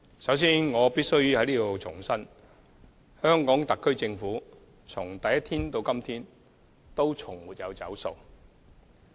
首先，我必須在此重申，香港特區政府從第一天起直至今天，從來也沒有"走數"。